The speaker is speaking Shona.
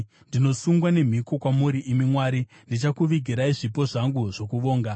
Ndinosungwa nemhiko kwamuri, imi Mwari; ndichakuvigirai zvipo zvangu zvokuvonga.